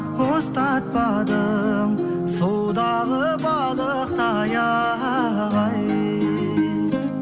ұстатпадың судағы балықтай ай